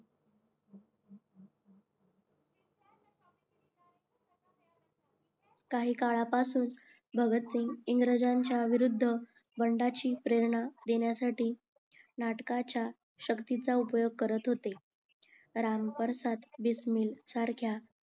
काही काळापासून भगत सिंग इंग्रजांच्या विरुद्ध बंडाची प्रेरणा देण्यासाठी नाटकाच्या श्याक्तीचा उपयोग करत होते सारख्या